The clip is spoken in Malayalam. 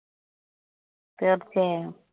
തീര്‍ച്ചയായും.